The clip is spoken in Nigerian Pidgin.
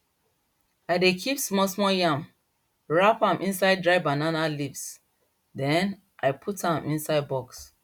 i dey kip small small yam wrap am inside dry banana leafs den i put am inside box